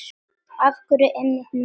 Af hverju einmitt núna?